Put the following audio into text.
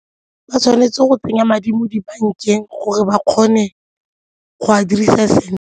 Ba tshwanetse go tsenya madi mo dibankeng gore ba kgone go a dirisa sentle.